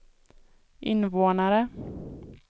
invånare